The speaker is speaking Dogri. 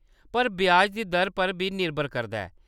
पर ब्याज दी दर पर बी निर्भर करदा ऐ।